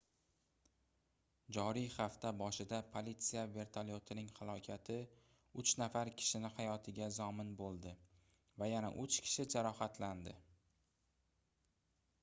joriy hafta boshida politsiya vertolyotining halokati uch nafar kishini hayotiga zomin boʻldi va yana uch kishi jarohatlandi